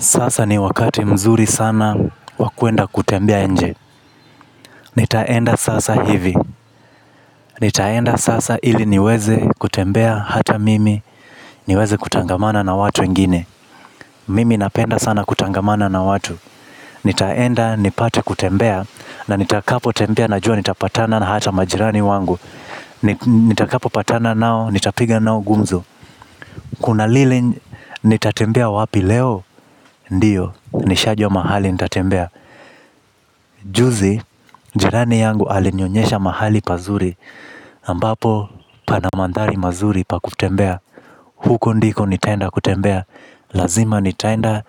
Sasa ni wakati mzuri sana wakuenda kutembea nje. Nitaenda sasa hivi. Nitaenda sasa ili niweze kutembea hata mimi. Niweze kutangamana na watu wengine. Mimi napenda sana kutangamana na watu nitaenda nipate kutembea na nitakapo tembea najua nitapatana na hata majirani wangu. Nitakapo patana nao nitapiga nao gumzo. Kuna lile nitatembea wapi leo. Ndiyo nishajua mahali nitatembea. Juzi, jirani yangu alinionyesha mahali pazuri ambapo, pana mandhari mazuri pa kutembea. Huko ndiko nitaenda kutembea. Lazima nitaenda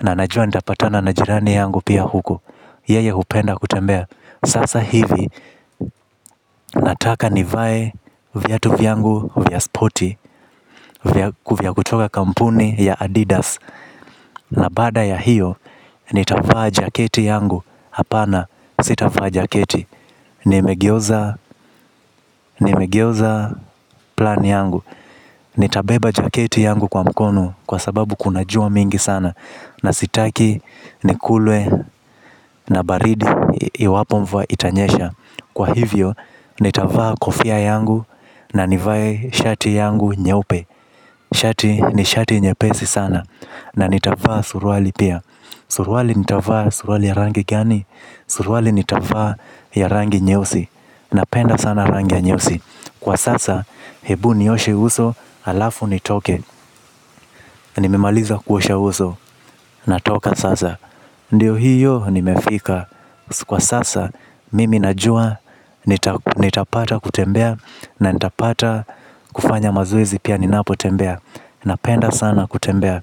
na najua nitapatana na jirani yangu pia huko yeye hupenda kutembea, sasa hivi nataka nivae viatu vyangu vya spoti vya vya kutoka kampuni ya Adidas. Na baada ya hiyo, nitavaa jaketi yangu. Hapana, sitavaa jaketi. Nimegeuza plan yangu. Nitabeba jaketi yangu kwa mkono. Kwa sababu kunajua mingi sana. Na sitaki nikulwe na baridi iwapo mvua itanyesha. Kwa hivyo, nitavaa kofia yangu. Na nivae shati yangu nyeupe shati ni shati nyepesi sana na nitavaa surwali pia. Suruali nitavaa suruali ya rangi gani. Suruali nitavaa ya rangi nyeusi. Napenda sana rangi ya nyeusii, kwa sasa, hebu nioshe uso, alafu nitoke. Nimimaliza kuosha uso, natoka sasa. Ndiyo hiyo nimefika. Kwa sasa, mimi najua, nitapata kutembea. Na nitapata kufanya mazowezi pia ninapo tembea. Napenda sana kutembea.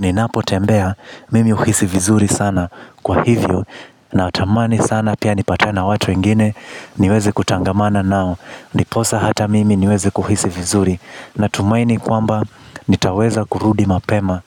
Ninapo tembea, mimi huhisi vizuri sana. Kwa hivyo, natamani sana pia nipatane watu wengine. Niweze kutangamana nao niposa hata mimi niweze kuhisi vizuri. Natumaini kwamba nitaweza kurudi mapema.